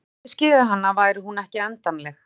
ef við gætum skilið hana væri hún ekki endanleg“